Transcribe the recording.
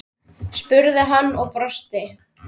spurði hann og brosti.